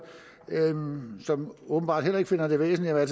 som åbenbart heller ikke finder det væsentligt at